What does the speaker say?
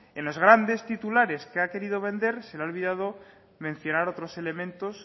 en los grandes titulares que ha querido vender se le ha olvidado mencionar otros elementos